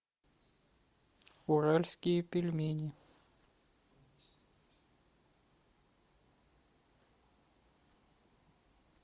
уральские пельмени